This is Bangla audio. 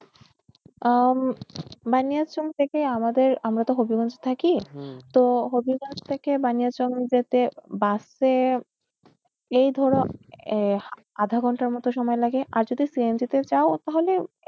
আহ উম বানিয়াচং থেকে আমাদের আমরাতো হবিগঞ্জ থাকি তো হবিগঞ্জ থেকে বানিয়াচং যেতে bus এ এই ধরো আহ আধা ঘন্টার মত সময় লাগে আর যদি CNG তে যাও তাহলে এর~